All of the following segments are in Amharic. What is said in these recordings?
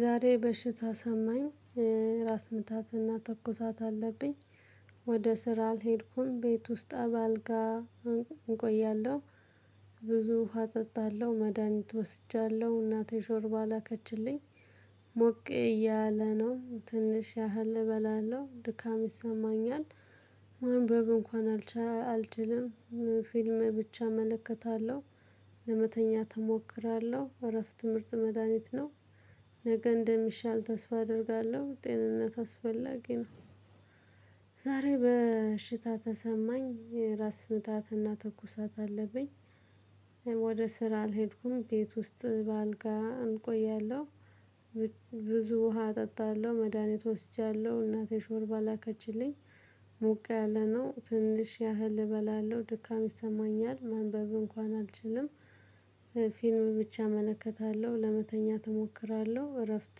ዛሬ በሽታ ተሰማኝ ራስ ምታትና ተኩሳት አለብኝ። ወደ ስራ አልሄድኩም ቤት ውስጥ አባል ጋር እንቆያለሁ። ብዙ ውሃ እጠጣለሁ መድሃኒት ወስጃለሁ እናቴ ሾርባ ላከችልኝ። ሞቅ እያለ ነው ትንሽ ያህል እበላለሁ ድካም ይሰማኛል። ማንበብ እንኳን አልችልም። ፊልም ብቻ እመለከታለሁ። ለመተኛት እሞክራለሁ እረፍት ምርጥ መድሃኒት ነው። ነገ እንደሚሻል ተስፋ አደርጋለሁ ጤንነት አስፈላጊ ነው። ዛሬ በሽታ ተሰማኝ ራስ ምታትና ትኩሳት አለብኝ። ወደ ስራ አልሄድኩም ቤት ውስጥ በአልጋ እቆያለሁ። ብዙ ውሃ እጠጣለሁ መድሃኒት ወስጃለሁ እናቴ ሾርባ ላከችልኝ። ሞቅ ያለነው ትንሽ ያህል እበላለሁ ድካም ይሰማኛል ማንበብ እንኳን አልችልም። ፊልም ብቻ እመለከታለሁ ለመተኛ እሞክራለሁ እረፍት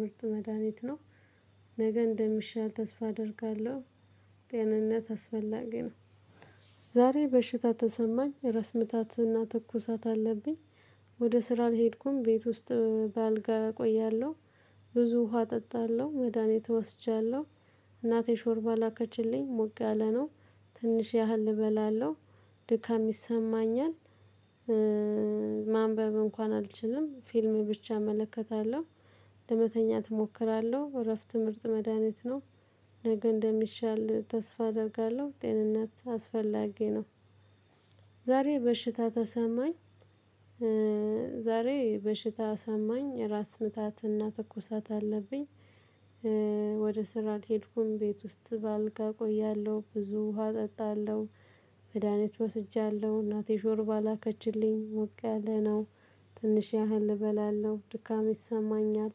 ምርጥ መድሃኒት ነው። ነገ እንደሚሻል ተስፋ አደርጋለሁ። ጤንነት አስፈላጊ ነው። ዛሬ በሽታ ተሰማኝ ራስ ምታትና ትኩሳት አለብኝ። ወደ ስራ አልሄድኩም ቤት ውስጥ በአልጋ እቆያለሁ። ብዙ ውሃ እጠጣለሁ መድሃኒት ወስጃለሁ። እናቴ ሾርባ ላከችልኝ ሞቅ አለ ነው። ትንሽ ያህል እበላለሁ። ድካም ይሰማኛል። ማንበብ እንኳን አልችልም ፊልም ብቻ እመለከታለሁ። ለመተኛት እሞክራለሁ እረፍት ምርጥ መድሃኒት ነው። ነገ እንደሚሻል ተስፋ አደርጋለሁ ጤንነት አስፈላጊ ነው። ዛሬ በሽታ ተሰማኝ። ዛሬ በሽታ ተሰማኝ ራስ ምታትና ትኩሳት አለብኝ። ወደ ስራ አልሄድኩም ቤት ውስጥ በአልጋ እቆያለሁ ብዙ ውሃ እጠጣለሁ። መድሃኒት ወስጃለሁ እናቴ ሾርባ ላከችልኝ ሞቅ ያለ ነው። ትንሽ ያህል እበላለሁ ድካም ይሰማኛል።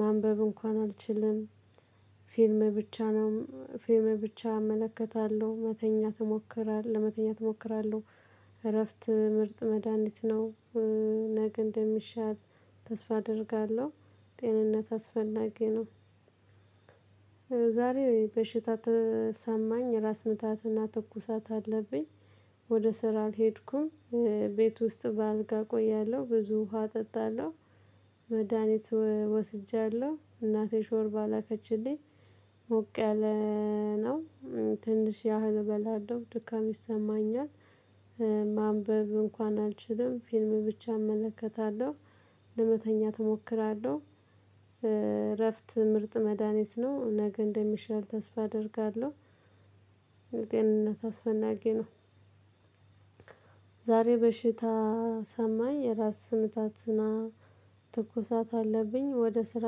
ማንበብ እንኳን አልችልም። ፊልም ብቻ ነው ፊልም ብቻ እመለከታለሁ መተኛት እሞክራለህ ለመተኛት እሞክራለሁ። እረፍት ምርጥ መድሃኒት ነው። ነገ እንደሚሻል ተስፋ አደርጋለሁ። ጤንነት አስፈላጊ ነው። ዛሬ በሽታ ተሰማኝ ራስ ምታትና ትኩሳት አለብኝ። ወደ ስራ አልሄድኩም። ቤት ውስጥ በአልጋ እቆያለሁ ብዙ ውሃ እጠጣለሁ። መድሃኒት ወስጃለሁ እናቴ ሾርባ ላከችልኝ። ሞቅ ያለ ነው። ትንሽ ያህል እበላለሁ ድካም ይሰማኛል። ማንበብ እንኳን አልችልም ፊልም ብቻ እመለከታለሁ። ለመተኛት እሞክራለሁ። እረፍት ምርጥ መድሃኒት ነው ነገ እንደሚሻል ተስፋ አደርጋለሁ። ለጤንነት አስፈናጊ ነው። ዛሬ በሽታ ተሰማኝ ራስ ስምታትና ትኩሳት አለብኝ ወደ ስራ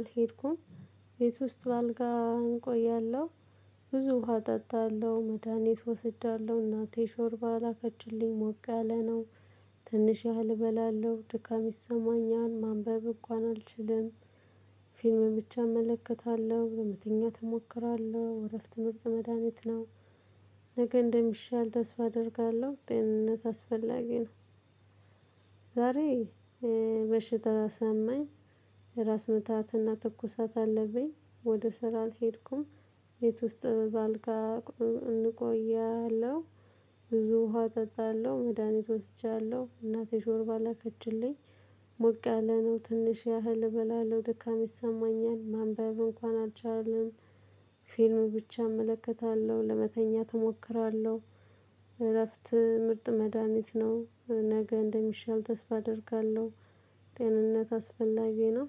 አልሄድኩም። ቤት ውስጥ በአልጋ እቆያለሁ። ብዙ ውሃ እጠጣለሁ መድሃኒት ወስጃለሁ እናቴ ሾርባ ላከችልኝ ሞቅ ያለ ነው። ትንሽ ያህል እበላለሁ ድካም ይሰማኛል ማንበብ እንኳን አልችልም። ፊልም ብቻ እመለከታለሁ ለመተኛ እሞክራለሁ እረፍት ምርጥ መድሃኒት ነው። ነገ እንደሚሻል ተስፋ አደርጋለሁ ጤንነት አስፈላጊ ነው። ዛሬ በሽታ ተሰማኝ። ራስ ምታትና ትኩሳት አለብኝ ወደ ስራ አልሄድኩም ቤት ውስጥ በአልጋ እቆያለሁ። ብዙ ውሃ እጠጣለሁ መድሃኒት ወስጃለሁ እናቴ ሾርባ ላከችልኝ። ሞቅ ያለነው ትንሽ ያህል እበላለሁ ደካም ይሰማኛል ማንበብ እንኳን አልችልም። ፊልም ብቻ እመለከታለሁ ለመተኛት እሞክራለሁ። እረፍት ምርጥ መድሃኒት ነው ነገ እንደሚሻል ተስፋ አደርጋለሁ። ጤንነት አስፈላጊ ነው።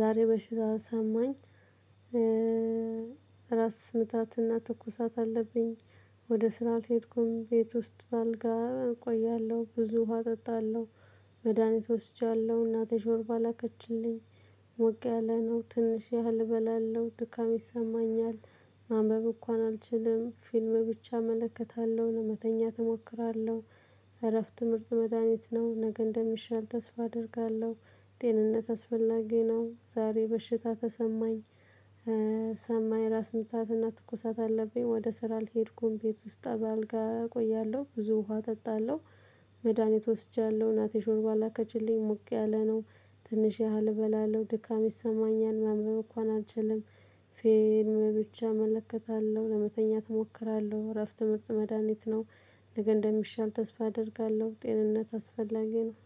ዛሬ በሽታ ተሰማኝ። ራስ ምታትና ትኩሳት አለብኝ። ወደ ስራ አልሄድኩም ቤት ውስጥ በአልጋ እቆያለሁ ብዙ ውሃ እጠጣለሁ። መድሃኒት ወስጃለሁ እናቴ ጆርባ ላከችልኝ። ሞቅ ያለ ነው ትንሽ ያህል እበላለው ድካም ይሰማኛል። ማንበብ እንኳን አልችልም ፊልም ብቻ እመለከታለሁ ለመተኛት እሞክራለሁ። እረፍት ምርጥ መድሃኒት ነው ነገ እንደሚሻል ተስፋ አደርጋለሁ። ጤንነት አስፈላጊ ነው። ዛሬ በሽታ ተሰማኝ። ተሰማኝ ራስ ምታትና ትኩሳት አለብኝ ወደ ስራ አልሄድኩም ቤት ውስጥ በአልጋ እቆያለሁ ብዙ ውሃ እጠጣለሁ። መድሃኒት ወስጃለሁ እናቴ ሾርባ ላከችልኝ ሞቅ ያለ ነው። ትንሽ ያህል እበላለሁ ድካም ይሰማኛል ማንበብ እንኳን አልችልም። ፊልም ብቻ እመለከታለሁ ለመተኛት እሞክራለሁ እረፍት ምርጥ መድሃኒት ነው። ነገ እንደሚሻል ተስፋ አደርጋለሁ ጤንነት አስፈላጊ ነው።